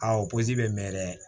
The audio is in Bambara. Aa o pɔsi bɛ mɛɛn dɛ